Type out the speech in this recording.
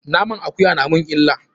Naman akuya na mun illa.